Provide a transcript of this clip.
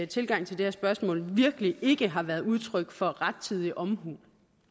tilgang til det her spørgsmål virkelig ikke har været udtryk for rettidig omhu